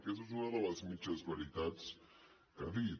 aquesta és una de les mitges veritats que ha dit